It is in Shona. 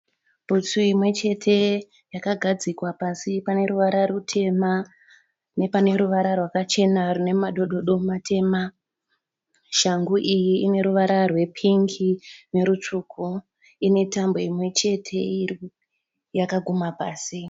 Bhutsu imwe chete yakagadzikwa pasi pane ruvara rutema nepane ruvara rwakachena rwune madododo matema. Shangu iyi ine ruvara rwepingi nerutsvuku. Ine tambo imwe chete yakagumha pasi.